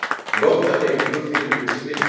Loft á hreyfingu finnum við sem vind.